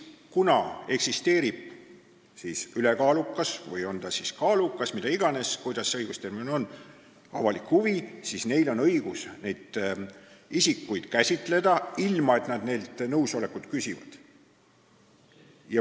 Kui eksisteerib ülekaalukas – või kaalukas, see oleneb sellest õigusterminist – avalik huvi, siis on neil õigus isikuandmeid käsitleda, ilma et nad isikutelt nõusolekut küsiksid.